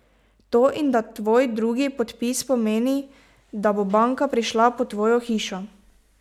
To in da tvoj drugi podpis pomeni, da bo banka prišla po tvojo hišo.